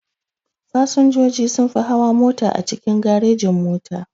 Fasinjoji sunfi hawa mota a cikin garejin-mota.